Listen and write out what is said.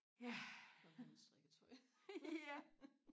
ja ja